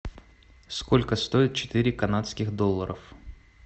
сколько стоит четыре канадских долларов